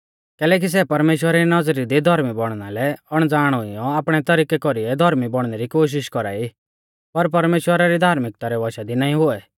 कैलैकि सै परमेश्‍वरा री नौज़री दी धोर्मी बौणना लै अणज़ाण हुइयौ आपणै तरिकै कौरीऐ धौर्मी बौणनै री कोशिष कौरा ई पर परमेश्‍वरा री धार्मिक्ता रै वशा दी नाईं हुऐ